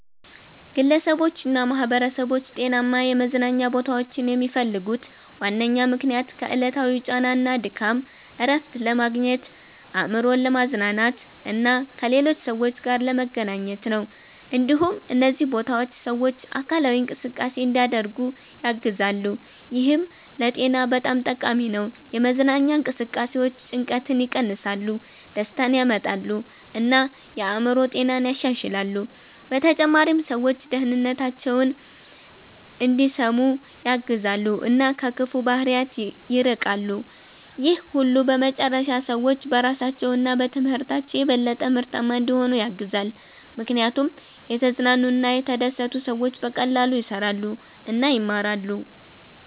ግለሰቦችና ማኅበረሰቦች ጤናማ የመዝናኛ ቦታዎችን የሚፈልጉት ዋነኛ ምክንያት ከዕለታዊ ጫና እና ድካም እረፍት ለማግኘት፣ አእምሮን ለማዝናናት እና ከሌሎች ሰዎች ጋር ለመገናኘት ነው። እንዲሁም እነዚህ ቦታዎች ሰዎች አካላዊ እንቅስቃሴ እንዲያደርጉ ያግዛሉ፣ ይህም ለጤና በጣም ጠቃሚ ነው። የመዝናኛ እንቅስቃሴዎች ጭንቀትን ይቀንሳሉ፣ ደስታን ያመጣሉ እና የአእምሮ ጤናን ያሻሽላሉ። በተጨማሪም ሰዎች ደህንነታቸውን እንዲሰሙ ያግዛሉ እና ከክፉ ባህሪያት ይርቃሉ። ይህ ሁሉ በመጨረሻ ሰዎች በስራቸው እና በትምህርታቸው የበለጠ ምርታማ እንዲሆኑ ያግዛል፣ ምክንያቱም የተዝናኑ እና የተደሰቱ ሰዎች በቀላሉ ይሰራሉ እና ይማራሉ።